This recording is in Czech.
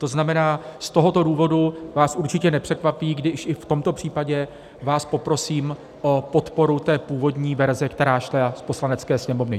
To znamená, z tohoto důvodu vás určitě nepřekvapí, když i v tomto případě vás poprosím o podporu té původní verze, která šla z Poslanecké sněmovny.